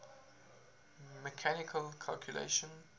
mechanical calculators